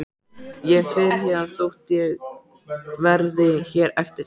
Ég fer héðan þótt ég verði hér eftir.